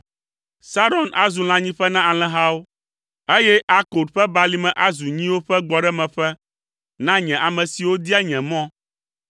Saron azu lãnyiƒe na alẽhawo, eye Akor ƒe balime azu nyiwo ƒe gbɔɖemeƒe na nye ame siwo dia nye mɔ.